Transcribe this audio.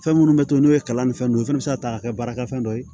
Fɛn minnu bɛ to n'u ye kalan ni fɛn ninnu o fana bɛ se ka ta k'a kɛ baarakɛfɛn dɔ ye